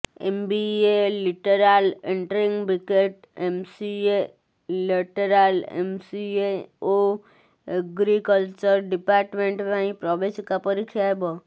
MBA lateral entry BTech MCA lateral MCA ଓ agriculture department ପାଇଁ ପ୍ରବେଶିକା ପରୀକ୍ଷା ହେବ